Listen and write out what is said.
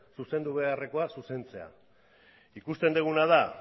zuzendu beharreko zuzentzea ikusten duguna da